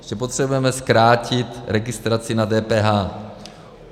Ještě potřebujeme zkrátit registraci na DPH.